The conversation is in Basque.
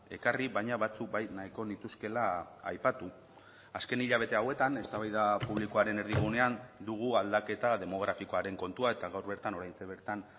ekarri baina batzuk bai nahiko nituzkeela aipatu azken hilabete hauetan eztabaida publikoaren erdigunean dugu aldaketa demografikoaren kontua eta gaur bertan oraintxe bertan